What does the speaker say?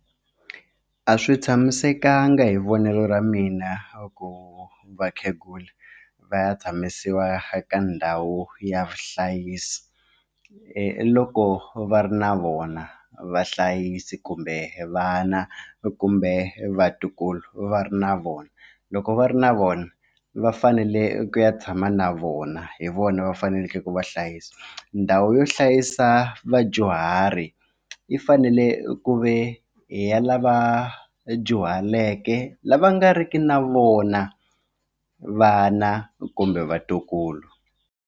A swi tshamisekanga hi vonelo ra mina swa ku vakhegula va ya tshamisiwa ka ndhawu ya vuhlayisi loko va ri na vona vahlayisi kumbe vana kumbe vatukulu va ri na vona loko va ri na vona va fanele ku ya tshama na vona hi vona va faneleke ku va hlayisa ndhawu yo hlayisa vadyuhari yi fanele ku ve i ya lava dyuhaleke lava nga riki na vona vana kumbe vatukulu.